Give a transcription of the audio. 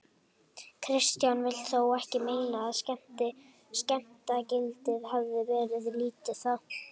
Kristján vill þó ekki meina að skemmtanagildið hafið verið lítið þá.